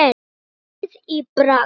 Vorið í Prag